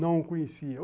Não o conhecia.